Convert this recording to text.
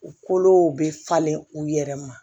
U kolow be falen u yɛrɛ ma